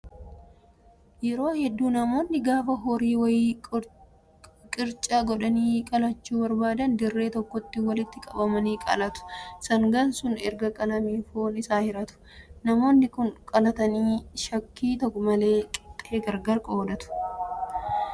Yeroo hedduu namoonni gaafa horii wayii qircaa godhanii qalachuu barbaadan dirree tokkotti walitti qabamanii qalatu. Sangaan sun erga qalamee foon isaa hiratu. Namoonni Kun qalatanii shakkii malee qixxee gargar qooddatu.